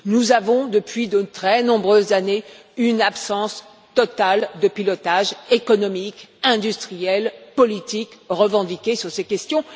Nous faisons face, depuis de très nombreuses années, à un défaut total de pilotage économique, industriel, politique revendiqué sur ces questions.